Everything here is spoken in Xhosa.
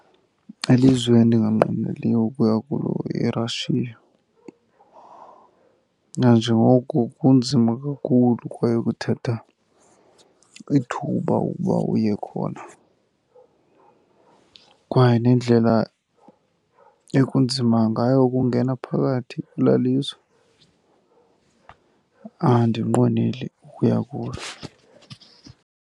Ilizwe endinganqweneliyo ukuya kulo yiRussia, nanjengoko kunzima kakhulu kwaye kuthatha ithuba ukuba uye khona. Kwaye nendlela ekunzima ngayo ukungena phakathi kwelaa lizwe andinqweneli ukuya kulo.